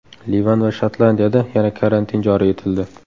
Livan va Shotlandiyada yana karantin joriy etildi.